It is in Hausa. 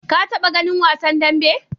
Ka taɓa ganin wasan dambe?